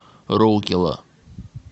роукела